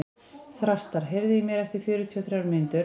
Þrastar, heyrðu í mér eftir fjörutíu og þrjár mínútur.